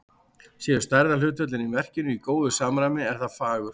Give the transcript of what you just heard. Séu stærðarhlutföllin í verkinu í góðu samræmi, er það fagurt.